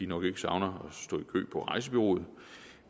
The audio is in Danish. nok ikke savner at på rejsebureauet